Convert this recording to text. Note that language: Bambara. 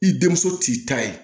I denmuso t'i ta ye